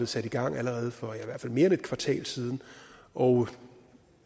sat i gang allerede for mere end et kvartal siden og